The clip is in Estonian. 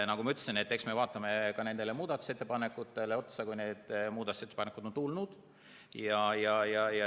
Nagu ma ütlesin, eks me vaatame ka muudatusettepanekuid, kui need on tulnud.